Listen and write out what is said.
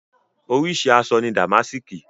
Oríṣi àṣọ ni dàmásìkì.